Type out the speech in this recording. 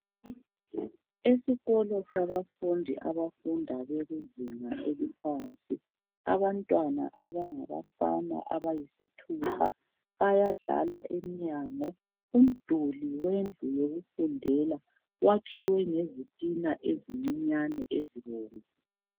Esikolo sabafundi abafunda bekuzinga eliphansi. Abantwana abangabafana abayisithupha, bayadlala emnyango. Umduli wendlu yokufundela wakhiwe ngezitina ezincinyane ezibomvu.